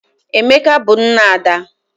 Emeka bu nna Ada.